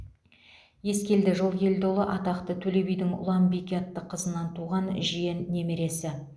ескелді жылкелдіұлы атақты төле бидің ұланбике атты қызынан туған жиен немересі